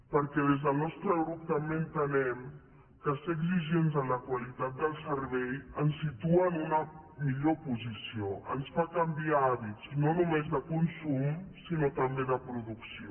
perquè des del nostre grup també entenem que ser exigents en la qualitat del servei ens situa en una millor posició ens fa canviar hàbits no només de consum sinó també de producció